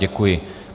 Děkuji.